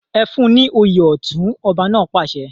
Ẹ fún ní òye ọ̀tún! ọba náà pàṣẹ.